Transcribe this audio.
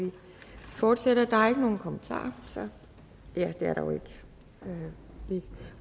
vi fortsætter der er ikke nogen kommentarer så vi